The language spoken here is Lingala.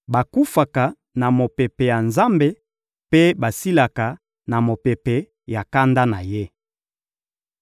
bakufaka na mopepe ya Nzambe mpe basilaka na mopepe ya kanda na Ye.